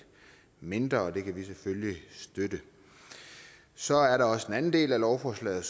mindre og det kan vi selvfølgelig støtte så er der også den anden del af lovforslaget